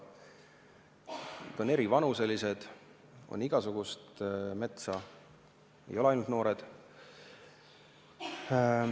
Metsa on erivanuselist – on igasugust metsa, ei ole ainult noort metsa.